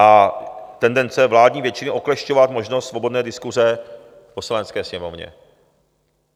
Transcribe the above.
A tendence vládní většiny oklešťovat možnost svobodné diskuse v Poslanecké sněmovně.